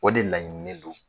O de laɲininen do.